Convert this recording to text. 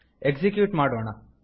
execute ಮಾಡೋಣ